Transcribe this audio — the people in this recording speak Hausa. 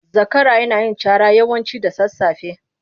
Zakara yana yin cara yawanci da sasafe.